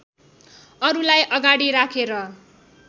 अरुलाई अगाडि राखेर